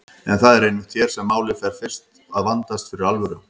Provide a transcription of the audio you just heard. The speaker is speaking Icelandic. En það er einmitt hér sem málið fer fyrst að vandast fyrir alvöru.